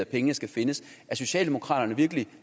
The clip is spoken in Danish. pengene skal findes er socialdemokraterne virkelig